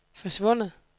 forsvundet